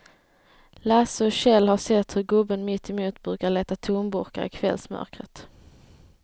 Lasse och Kjell har sett hur gubben mittemot brukar leta tomburkar i kvällsmörkret.